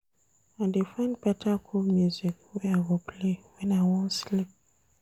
I dey find beta cool music wey I go play wen I wan sleep.